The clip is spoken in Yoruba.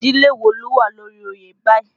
Ìdílé wo ló wà lórí oyè báyìí?